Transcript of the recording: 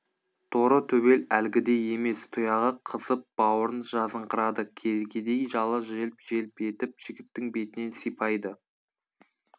торы төбел әлгідей емес тұяғы қызып бауырын жазыңқырады кергедей жалы желп желп етіп жігіттің бетінен сипайды